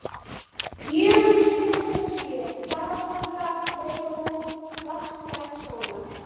Gjögur suðaustan sjö, Dalatanga, Nautabú, Vatnsskarðshóla.